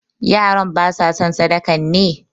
Yaran ba sa son sadakan ne?